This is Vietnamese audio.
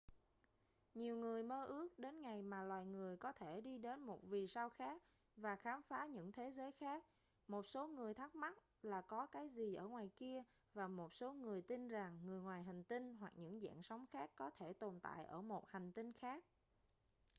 nhiều người mơ ước đến ngày mà loài người có thể đi đến một vì sao khác và khám phá những thế giới khác một số người thắc mắc là có cái gì ở ngoài kia và một số người tin rằng người ngoài hành tinh hoặc những dạng sống khác có thể tồn tại ở một hành tinh khác